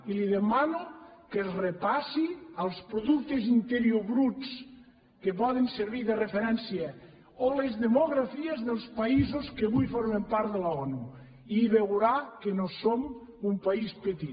i li demano que es repassi els productes interiors bruts que poden servir de referència o les demografies dels països que avui formen part de l’onu i veurà que no som un país petit